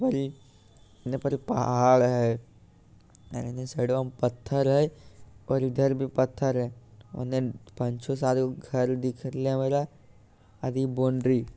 और इ इने पर एक पहाड़ हेय अ इने साइड बा में पत्थर हेय और इधर भी पत्थर हेय ओने पांच छो सात गो घर दिख रहले हमरा और इ बाउंड्री ।